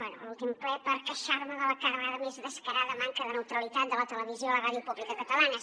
bé a l’últim ple per queixar me de la cada vegada més descarada manca de neutralitat de la televisió i la ràdio pública catalanes